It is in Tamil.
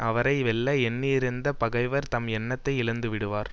அவரை வெல்ல எண்ணியிருந்த பகைவர் தம் எண்ணத்தை இழந்துவிடுவார்